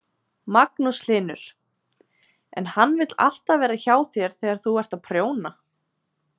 Magnús Hlynur: En hann vill alltaf vera hjá þér þegar þú ert að prjóna?